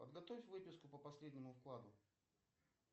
подготовь выписку по последнему вкладу